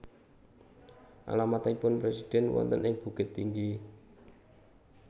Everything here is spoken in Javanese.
Alamatipun presiden wonten ing Bukittinggi?